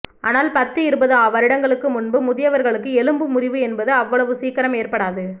ஆனால் பத்து இருபது வருடங்களுக்கு முன்பு முதியவர்களுக்கு எலும்பு முறிவு என்பது அவ்வளவு சீக்கிரம் ஏற்படாது